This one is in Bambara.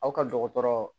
Aw ka dɔgɔtɔrɔ